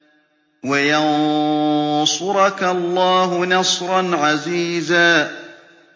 وَيَنصُرَكَ اللَّهُ نَصْرًا عَزِيزًا